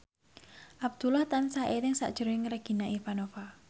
Abdullah tansah eling sakjroning Regina Ivanova